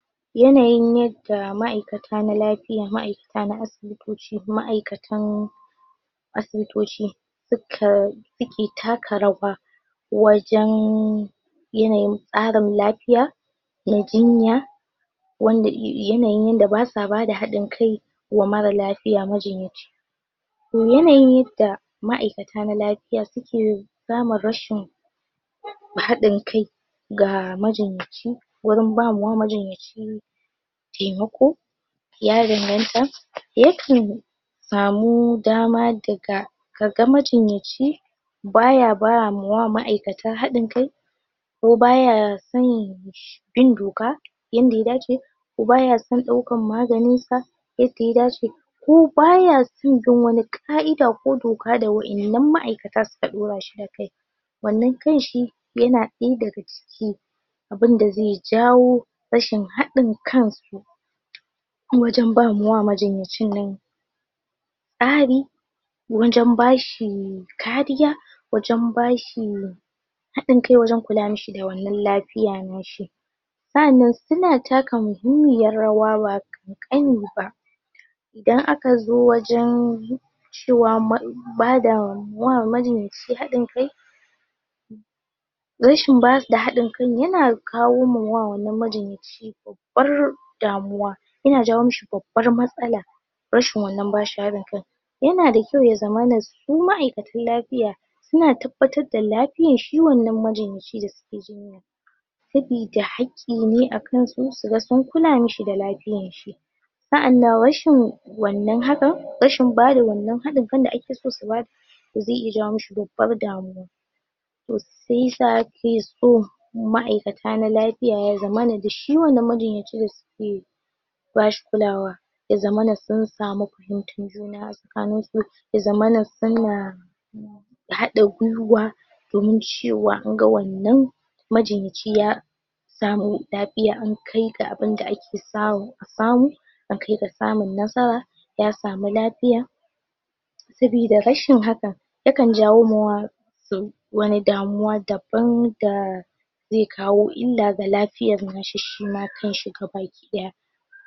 yanayin yanda ma'akata na lafiya ma'ailata na asibitoci ma'aikatan asibitoci suka suke taka rawa wajan yanayin tsarin lafiya na jinya wanda yanayinda basuwa bada haɗin kai wa mara lafiya majinyaci to yanayinda ma'aikata na lafiya suke samun rashin haɗin kai ga majinyaci wurin bama wa majinyaci taimako ya danganta yakan samu dama daga kaga majinyaci baya ba mawa ma'aikata hadin kai ko baya san bin doka yanda ya dace bayason daukan maganinsa yadda ya dace ko bayason jin ka'ida ko doga da waiyannan ma'aikata suka dorashi akai wannan kanshi yana inda gaske abunda ze jawo rashin haɗin kansu wajan bama wa majinyacinnan tsari wajan bashi kariya wajan bashi haɗinkai wajan kula mishi da wannan lafiyan nashi sa'anan suna taka muhimmiyar rawa ba kankaniba idan akazo wajann cewa ma bada wa majinyaci hadinkai rashin bada haɗinkai yana kawo mawa majinyaci babbar damuwa yana jawo mishi babbar matsala rashin wannan bashi haɗin kai yana da kyau yazamana su ma'aikatan lafiya suna tabbatarda lafiyar shi wannan majinyacin da sukeso sabida hakki ne akansu suga sun kulamishi da lafiyarshi sa'anan rashin wannan haka rashin bada wannan hadin kan da akeso su bayar zai iya jawo mishi babbar damuwa to shiyasa akeso ma'aikata na lafiya ya zamana de shi wannan majinyaci dasuke bashi kulawa ya zamana sun samu fahimtar juna asakaninsu ya zamana suna hada gwiwa domin cewa anga wannan majinyaci ya samu lafiya an akai ga abinda sawo asamu akai ga samun nasara ya samu lafiya sabida rashin haka yakan jawo mawa sau wani damuwa daban daa ze kawo illa ga lafiayan shima kanshi gabaki daya